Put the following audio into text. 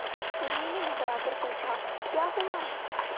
उर्मी ने घबराकर पूछा क्या हुआ